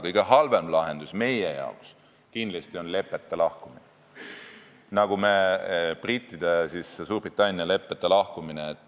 Kõige halvem lahendus meie jaoks oleks kindlasti Suurbritannia leppeta lahkumine.